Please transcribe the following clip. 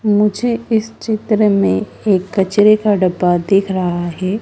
मुझे इस चित्र में एक कचरे का डब्बा दिख रहा है।